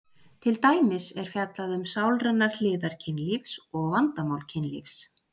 til dæmis er fjallað um sálrænar hliðar kynlífs og vandamál kynlífs